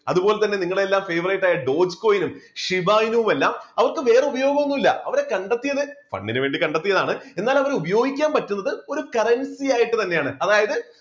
അതുപോലെതന്നെ നിങ്ങളുടെ എല്ലാം favorite ആയിട്ടുള്ള dotcoin നും ശിവായുമെല്ലാം അവർക്ക് വേറെ ഉപയോഗം ഒന്നുമില്ല അവരെ കണ്ടെത്തിയത് fund ന് വേണ്ടി കണ്ടെത്തിയതാണ് എന്നാൽ അവരെ ഉപയോഗിക്കാൻ പറ്റുന്നത് ഒരു currency ആയിട്ട് തന്നെയാണ് അതായത്